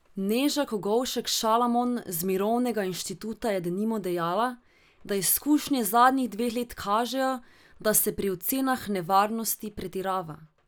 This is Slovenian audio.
Neža Kogovšek Šalamon z Mirovnega inštituta je denimo dejala, da izkušnje zadnjih dveh let kažejo, da se pri ocenah nevarnosti pretirava.